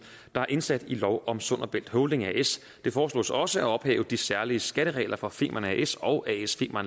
der er indsat i lov om sund og bælt holding as det foreslås også at ophæve de særlige skatteregler for femern as og as